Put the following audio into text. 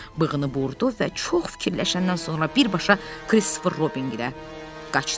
Dovşan bığını burdu və çox fikirləşəndən sonra birbaşa Kristofer Robinə tərəf qaçdı.